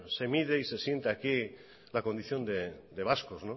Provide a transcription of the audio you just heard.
se mide y se siente aquí la condición de vascos